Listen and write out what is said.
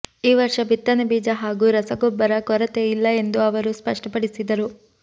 ಈ ವರ್ಷ ಬಿತ್ತನೆ ಬೀಜ ಹಾಗೂ ರಸಗೊಬ್ಬರ ಕೊರತೆ ಇಲ್ಲ ಎಂದು ಅವರು ಸ್ಪಷ್ಟಪಡಿಸಿದರು